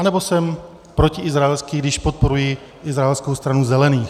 Anebo jsem protiizraelský, když podporuji izraelskou Stranu zelených?